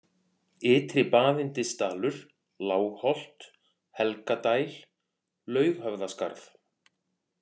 Ytri-Baðyndisdalur, Lágholt, Helgadæl, Laughöfðaskarð